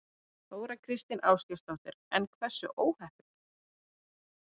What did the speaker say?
Þóra Kristín Ásgeirsdóttir: En hversu óheppileg?